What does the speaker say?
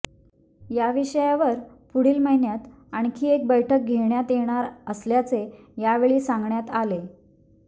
या विषयावर पुढील महिन्यात आणखी एक बैठक घेण्यात येणार असल्याचे यावेळी सांगण्यात आले